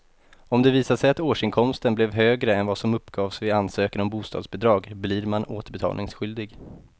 Om det visar sig att årsinkomsten blev högre än vad som uppgavs vid ansökan om bostadsbidrag blir man återbetalningsskyldig.